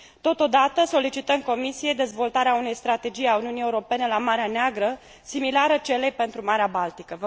Totodată, solicităm Comisiei dezvoltarea unei strategii a Uniunii Europene la Marea Neagră similară celei pentru Marea Baltică.